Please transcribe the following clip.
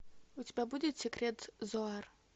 у тебя будет секрет зоар